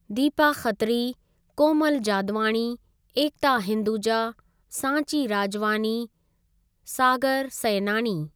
Deepa Khatri, Komal Jadwani. Ekta Hinduja. Sanchi Rajwani. Sagar Sainani.